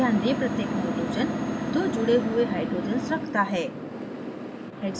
ध्यान दें प्रत्येक nitrogen दो जुड़े हुए hydrogens रखता है